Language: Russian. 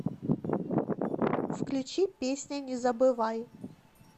включи песня не забывай